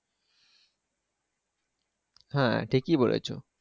হ্যাঁ ঠিকই বলেছো।